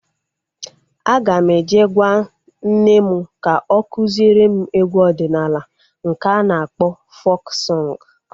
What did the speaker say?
Aga m eje gwaa nne m ka o kụziere m egwu ọdịnala nke a na-akpọ fok sọng